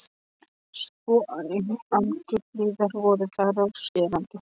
Svo angurblíðar voru þær og skerandi.